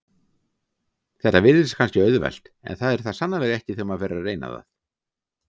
Þetta virðist kannski auðvelt en er það sannarlega ekki þegar maður fer að reyna það.